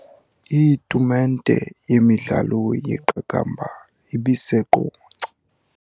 Itumente yemidlalo yeqakamba ibiseQonce.